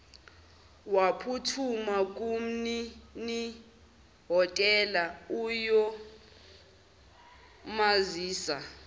waphuthuma kumninihhotela ukuyomazisa